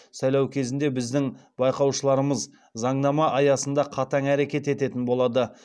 сайлау кезінде біздің байқаушыларымыз заңнама аясында қатаң әрекет ететін болады